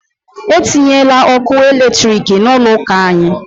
E tinyela ọkụ eletrik n'ụlọ ụka anyị!